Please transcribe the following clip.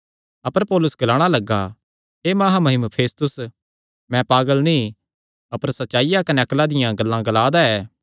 अपर Paulus ग्लाणा लग्गा हे महामहिम फेस्तुस मैं पागल नीं अपर सच्चाईया कने अक्ला दियां गल्लां ग्ला दा ऐ